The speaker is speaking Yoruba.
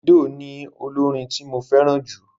Dèfídò ni olórin tí mo fẹ́ràn jù.